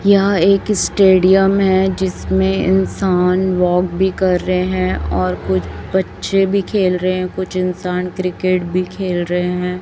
यह एक स्टेडियम है जिसमें इंसान वॉक भी कर रहे हैं और कुछ बच्चे भी खेल रहे हैं कुछ इंसान क्रिकेट भी खेल रहे हैं।